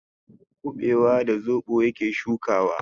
Kuɓewa da zoɓo yake shukawa.